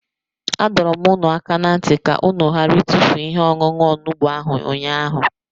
Adọrum unu aka na nti ka unu ghara itufu ihe-ọṅuṅu onugbu ahu unyaahu.